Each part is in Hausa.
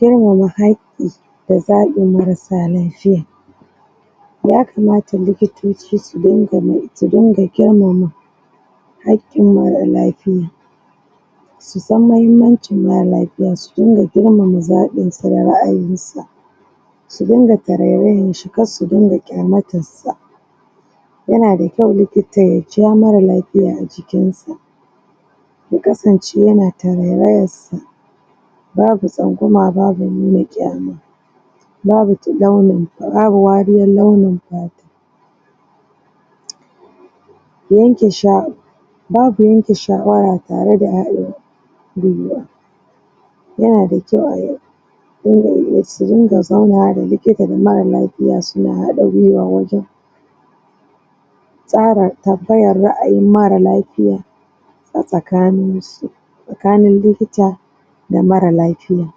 Girmama haƙƙi da zaɓin marasa lafiya. Ya kamata likitoci su su dinga girmama hakƙin mara lafiya, sun san mahimmanci mara lafiya su dunga girmama zaɓinsa da ra'ayinsa, sun dunga tarayyashi kar su dunga kyaumatarsa. Ya nada kyau likita ya ja mara lafiya ajikinsa yakasance yana tarairayansa, babu tsangwama babu nuna kyama babu tilalayi babu wariyan launin fata, yanke sha babu yanke shawara tare da rayuwan ya nada kyau ai yanayi surinƙa zaunawa da likita da mara lafiya su na haɗa gwiwa wajan tsara tambayan ra'ayin mara lafiya a tsakaninsu. Tsakanin likita da mara lafiya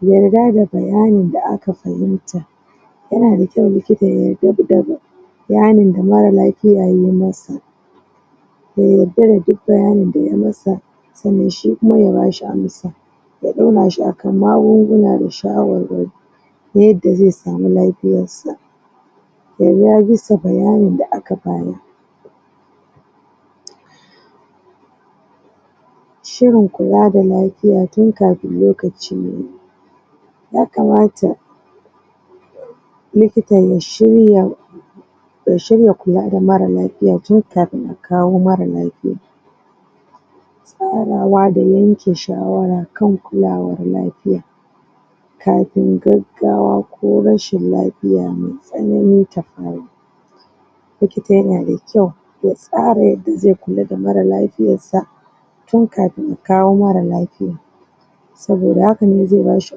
yarda da bayani da aka fahimta, ya nada kyau likita ya yarda bayani da mara lafiya yayi masa, ya yarda da duk bayanin da yay masa sannan shi kuma ya bashi amsa ya ɗaurashi a kan magunguna da shawarwari yanda ze samu lafiyarsa bisa bayanin da aka bayar. Shirin kula da lafiya tin kafin lokaci yayi, ya kamata likita ya shirya ya shirya kula da marala fiya tin kafin kawo mara lafiya. Farawa da yanke shawara kan kulawan lafiya kafin gaggawa ko rashin lafiya mai tsanani tafaru. Likita ya na da kyau ya tsara yadda ze kula da lafiyarsa tin kafin akawo mara lafiyan saboda hakane ze bashi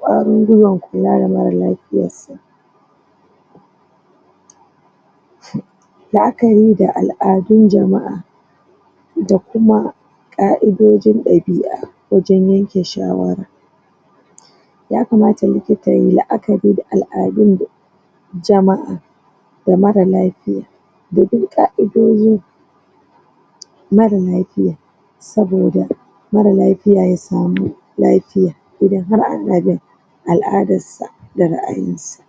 kwarin gwiwan kula da mara lafiyarsa la'akari da al'adun jama'a da kuma ƙa'idojin ɗabi'a wajan yanke shawara. Ya kamata likita yay la'akari da al'adun jama'a ga mara lafiya da duk ƙa'idojin mara lafiya saboda mara lafiya ya samu lafiya idan har ana bin al'adassa da ra'ayinsa